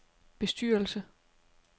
bestyrelse